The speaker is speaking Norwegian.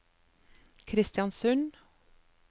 Kristiansund